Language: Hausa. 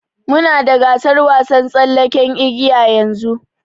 Muna da gasar wasan tsallaken igiya yanzu.